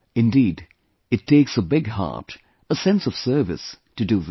Indeed, it takes a big heart, a sense of service, to do this